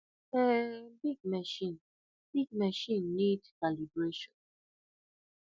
um big machine big machine need calibration